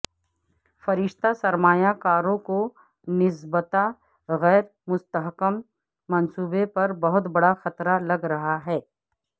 فرشتہ سرمایہ کاروں کو نسبتا غیر مستحکم منصوبے پر بہت بڑا خطرہ لگ رہا ہے